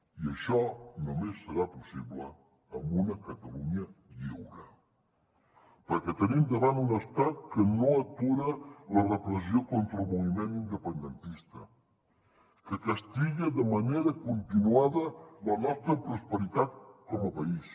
i això només serà possible en una catalunya lliure perquè tenim davant un estat que no atura la repressió contra el moviment independentista que castiga de manera continuada la nostra prosperitat com a país